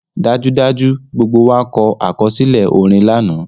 Dajudaju, gbogbo wa kọ akọsilẹ orin lana